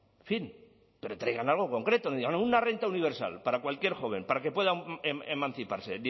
en fin pero traigan algo concreto no digan una renta universal para cualquier joven para que pueda emanciparse